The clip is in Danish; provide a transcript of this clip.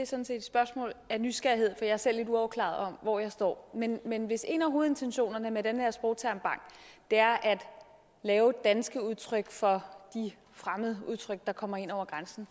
sådan set et spørgsmål af nysgerrighed for jeg er selv lidt uafklaret om hvor jeg står men men hvis en af hovedintentionerne med den her sprogtermbank er at lave danske udtryk for de fremmede udtryk der kommer ind over grænsen